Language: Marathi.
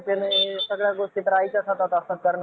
खाणेपिणे या सगळ्या गोष्टी आईच्याच हातात असतात